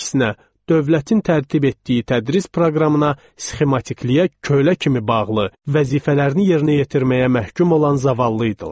Əksinə, dövlətin tərtib etdiyi tədris proqramına, sxematikliyə kölə kimi bağlı, vəzifələrini yerinə yetirməyə məhkum olan zavallıydılar.